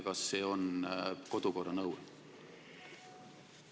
Kas see on kodukorra nõue?